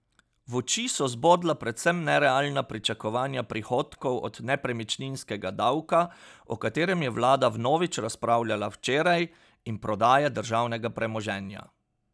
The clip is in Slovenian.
V oči so zbodla predvsem nerealna pričakovanja prihodkov od nepremičninskega davka, o katerem je vlada vnovič razpravljala včeraj, in prodaje državnega premoženja.